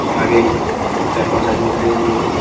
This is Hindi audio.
और आगे चार-पांच आदमी खड़े हुए हैं।